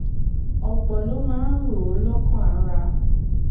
òpò ló máa ń rò ó lókàn ara